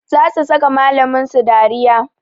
Za su saka malamin su dariya